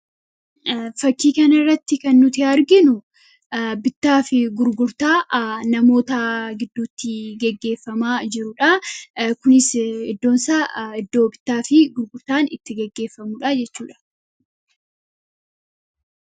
Fakkii kanarratti kan nuti arginuu, bittaa fi gurgurtaa namoota gidduutti gaggeeffamaa jiruudha. Kunis iddoon isaa iddoo bittaa fi gurgurtattaan itti gaggeefamuudha jechuudha.